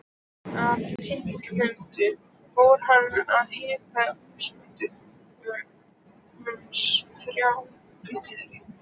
Af tilefninu fór hann að hitta húsbændur hans, þrjá bræður.